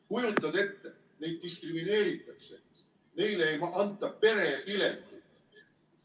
Kujutad ette, neid diskrimineeritakse, neile ei anta perepiletit!